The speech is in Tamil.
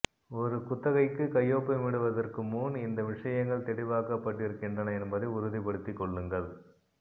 ஒரு குத்தகைக்கு கையொப்பமிடுவதற்கு முன் இந்த விஷயங்கள் தெளிவாக்கப்பட்டிருக்கின்றன என்பதை உறுதிப்படுத்திக் கொள்ளுங்கள்